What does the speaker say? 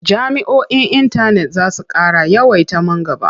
Jami'oi na intanet za su ƙara yawaita man gaba.